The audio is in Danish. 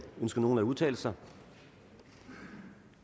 ønsker nogen at udtale sig